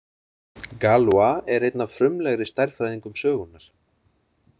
Galois er einn af frumlegri stærðfræðingum sögunnar.